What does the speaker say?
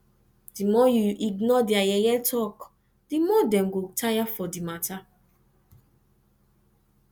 di more you ignore their yeye talk di more dem go tire for di matter